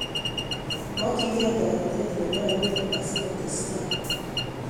Mokyingee toreteeet nepo rapinik asikotestai